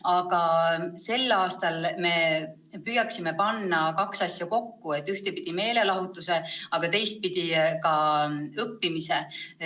Aga sel aastal püüame panna kaks asja kokku: ühtpidi meelelahutuse, teistpidi ka õppimise.